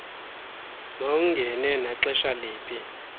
mawungene naxesha liphi